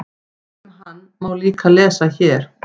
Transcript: Um hann má líka lesa hér.